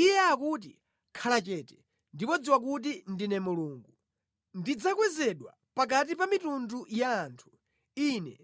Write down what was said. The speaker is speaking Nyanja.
Iye akuti, “Khala chete, ndipo dziwa kuti ndine Mulungu; ndidzakwezedwa pakati pa mitundu ya anthu; ine